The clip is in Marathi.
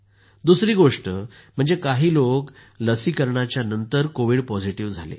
दुसरी गोष्ट म्हणजे काही लोक लसीकरणाच्या नंतर कोविड पॉझिटिव्ह झाले